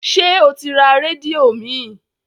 Ṣé o ti ra rédíò míì?